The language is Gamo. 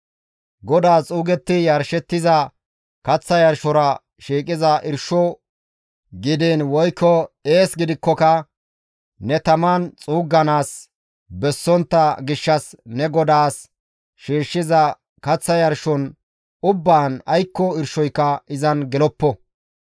«GODAAS xuugetti yarshettiza kaththa yarshora shiiqiza irsho gidiin woykko ees gidikkoka ne taman xuugganaas bessontta gishshas ne GODAAS shiishshiza kaththa yarshon ubbaan aykko irshoyka izan geloppo.